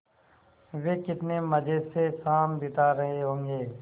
वे कितने मज़े से शाम बिता रहे होंगे